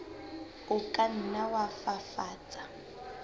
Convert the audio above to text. o ka nna wa fafatsa